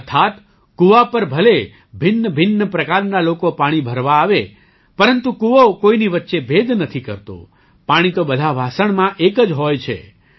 અર્થાત્ કુવા પર ભલે ભિન્નભિન્ન પ્રકારના લોકો પાણી ભરવા આવે પરંતુ કુવો કોઈની વચ્ચે ભેદ નથી કરતો પાણી તો બધાં વાસણમાં એક જ હોય છે